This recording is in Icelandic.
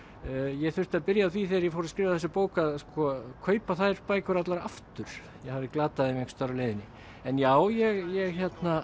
ég þurfti að byrja á því þegar ég fór að skrifa þessa bók að kaupa þær bækur allar aftur ég hafði glatað þeim einhvers staðar á leiðinni en já ég